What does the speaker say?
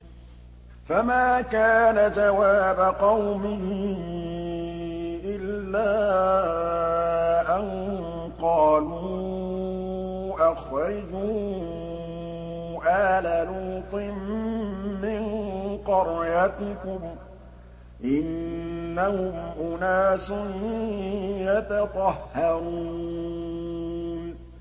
۞ فَمَا كَانَ جَوَابَ قَوْمِهِ إِلَّا أَن قَالُوا أَخْرِجُوا آلَ لُوطٍ مِّن قَرْيَتِكُمْ ۖ إِنَّهُمْ أُنَاسٌ يَتَطَهَّرُونَ